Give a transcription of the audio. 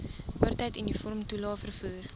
oortyd uniformtoelae vervoer